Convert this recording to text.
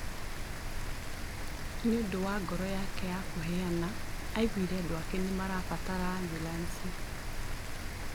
Nĩũndũ wa ngoro yake ya kũheana, aiguire andũ ake nĩmabataraga ambulanĩcĩ